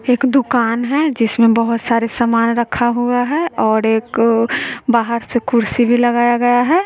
एक दुकान है जिसमें बहोत सारे समान रखा हुआ है और एक बाहर से कुर्सी भी लगाया गया है।